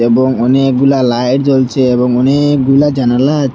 এবং অনেকগুলা লাইট জ্বলছে এবং অনেকগুলা জানালা আছে।